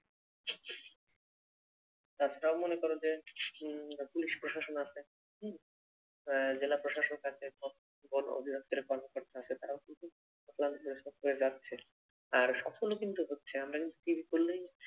তাছাড়াও মনে কর যে, উম পুলিশ প্রশাসন আছে হম উম জেলা প্রশাসক আছে, বন অধিদপ্তরের কর্মকর্তা আছে তারাও কিন্তু অক্লান্ত পরিশ্রম করে যাচ্ছে। আর সফলও কিন্তু হচ্ছে। আমরা কিন্তু টিভি খুললেই